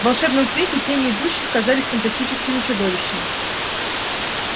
в волшебном свете тени идущих казались фантастическими чудовищами